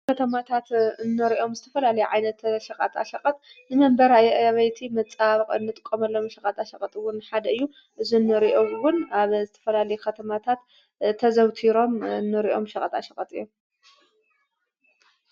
ኸተማታት ኖሪኦም ዝተፈላሊ ዓይነተ ሸቓጣ ሸቐጥ ንመንበር ኣይኣበይቲ መጻሃብቕ እንጥቆመሎም ሸቓጣ ሸቐጥውን ሓደ እዩ እዝ ኖሪኦውን ኣብ ዝተፈላሊ ኸተማታት ተዘውቲሮም ኖሪኦም ሸቐጣ ሸቐጥ እዮም።